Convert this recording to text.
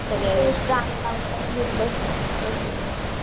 गाणं लावते आणि बसते